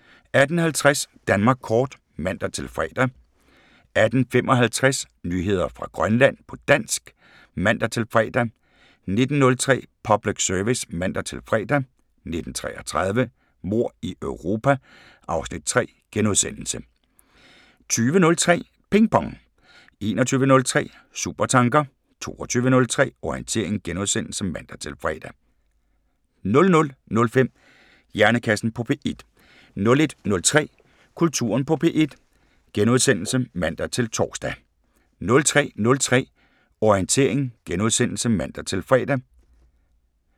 18:50: Danmark kort (man-fre) 18:55: Nyheder fra Grønland på dansk (man-fre) 19:03: Public Service (man-fre) 19:33: Mord i Europa (Afs. 3)* 20:03: Ping Pong 21:03: Supertanker 22:03: Orientering *(man-fre) 00:05: Hjernekassen på P1 01:03: Kulturen på P1 *(man-tor) 03:03: Orientering *(man-fre)